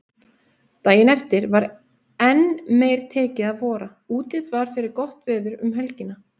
Daginn eftir var enn meir tekið að vora, útlit var fyrir gott veður um helgina.